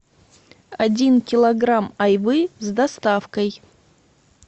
один килограмм айвы с доставкой